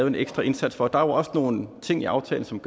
en ekstra indsats for og der er jo også nogle ting i aftalen som